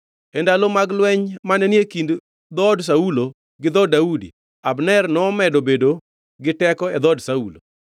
E ndalo mag lweny mane ni e kind dhood Saulo gi dhood Daudi, Abner nomedo bedo gi teko e dhood Saulo.